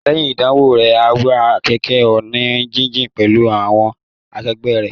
Lẹ́yìn ìdánwò rẹ̀, á wa kẹ̀kẹ́ ọ̀nà jíjìn pẹ̀lú àwọn akegbẹ́ rẹ̀